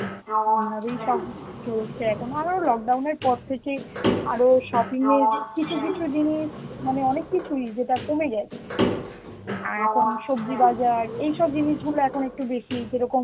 এইভাবেই সব চলছে, এখন আরও lockdown এর পর থেকে আরো shopping এর কিছু কিছু জিনিস মানে অনেক কিছুই যেটা কমে গেছে. অ্যাঁ এখন সবজি বাজার, এইসব জিনিস গুলো এখন একটু বেশি যেরকম